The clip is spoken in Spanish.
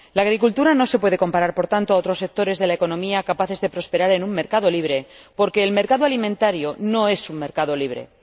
La agricultura no se puede comparar, por tanto, con otros sectores de la economía capaces de prosperar en un mercado libre, porque el mercado alimentario no es un mercado libre.